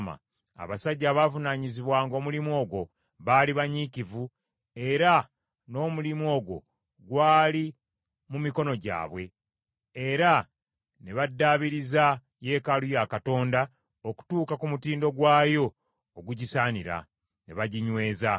Abasajja abaavunaanyizibwanga omulimu ogwo baali banyiikivu, era n’omulimu ogwo gwali mu mikono gyabwe, era ne baddaabiriza yeekaalu ya Katonda okutuuka ku mutindo gwayo ogugisaanira, ne baginyweza.